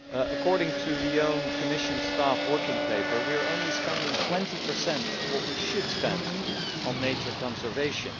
According to the Commission's own staff working paper, we are only spending 20 of what we should spend on nature conservation.